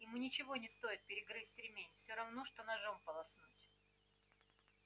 ему ничего не стоит перегрызть ремень всё равно что ножом полоснуть